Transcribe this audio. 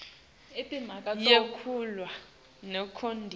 yekuvalwa kweyikolo